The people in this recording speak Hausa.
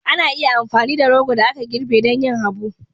Ana iya amfani da rogo da aka girbe don yin habu